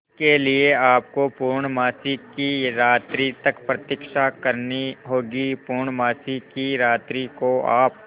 इसके लिए आपको पूर्णमासी की रात्रि तक प्रतीक्षा करनी होगी पूर्णमासी की रात्रि को आप